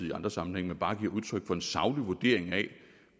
i andre sammenhænge men bare giver udtryk for en saglig vurdering af